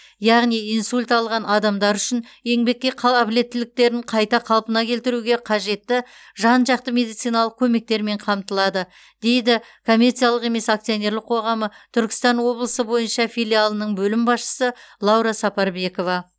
яғни инсульт алған адамдар үшін еңбекке қала қабілеттіліктерін қайта қалпына келтіруге қажетті жан жақты медициналық көмектермен қамтылады дейді коммерциялық емес акционерлық қоғамы түркістан облысы бойынша филиалының бөлім басшысы лаура сапарбекова